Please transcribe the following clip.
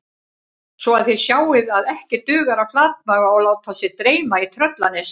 Svo að þið sjáið að ekki dugar að flatmaga og láta sig dreyma í Tröllanesi